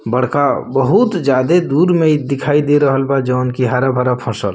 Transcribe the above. बड़का बहुत ज्यादा दूर में इ दिखाई दे रहल बा जोवन के हरा-भरा फसल।